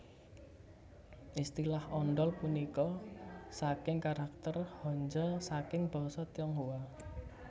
Istilah ondol punika saking karakter hanja saking Basa Tionghoa